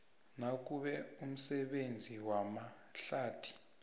nakube umsebenzi wamahlathi